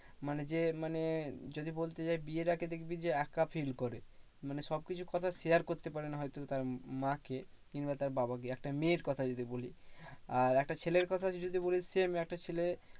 মানে যে মানে যদি বলতে চাই বিয়ের আগে দেখবি যে একা feel করে। মানে সবকিছু কথা share করতে পারে না হয়তো তার মা কে কিংবা তার বাবাকে, একটা মেয়ের কথা যদি বলি। আর একটা ছেলের কথা যদি বলিস same একটা ছেলে